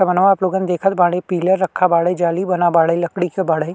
लोगन देखत बाड़े पिलर रखा बाड़े जाली बना बाड़े लकड़ी के बाड़े --